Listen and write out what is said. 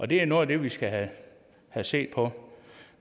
det er noget af det vi skal have set på